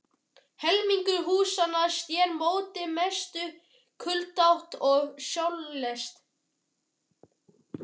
Helmingur húsanna sneri móti mestu kuldaátt og sólarleysi.